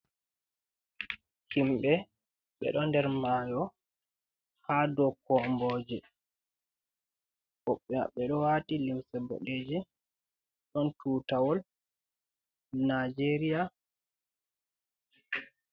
Himbe be ɗo nder mayo. ha ɗau komboje. Wobbe mabbe do waati limse boɗejem, ɗon tutawol nijeria.